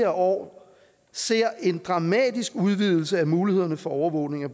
år ser en dramatisk udvidelse af mulighederne for overvågning af